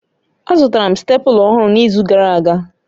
Azụtara m stépụla ọhụrụ n'izu gara aga